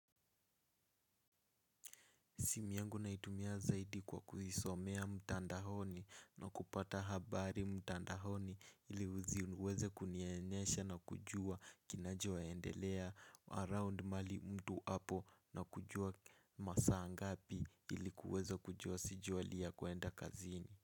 Simu yangu naitumia zaidi kwa kuisomea mtandahoni na kupata habari mtandahoni ili uzi uweze kunienyesha na kujua kinachoendelea around mahali mtu apo na kujua masaa ngapi ili kuweza kujua sijuhali ya kwenda kazini.